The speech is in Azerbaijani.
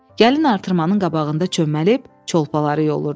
Gəlin artırmanın qabağında çöməlib, çolpaları yolurdu.